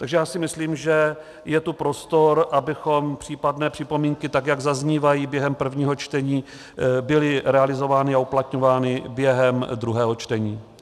Takže já si myslím, že je tu prostor, aby případné připomínky, tak jak zaznívají během prvního čtení, byly realizovány a uplatňovány během druhého čtení.